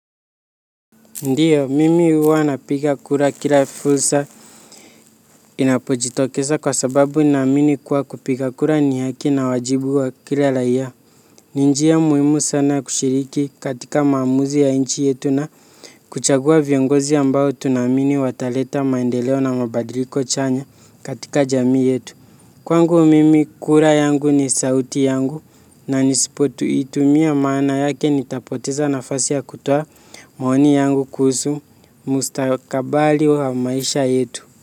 Ndio, mimi huwa napiga kura kila fursa inapojitokeza kwa sababu naamini kuwa kupiga kura ni haki na wajibu wa kila raia. Ni njia muhimu sana ya kushiriki katika maamuzi ya nchi yetu na kuchagua viongozi ambao tunaamini wataleta maendeleo na mabadiliko chanya katika jamii yetu. Kwangu mimi kura yangu ni sauti yangu na nisipoitumia maana yake nitapoteza nafasi ya kutoa maoni yangu kuhusu mustakabali wa maisha yetu.